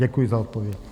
Děkuji za odpověď.